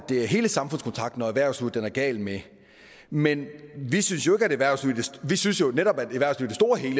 er hele samfundskontrakten og erhvervslivet den er gal med men vi synes jo netop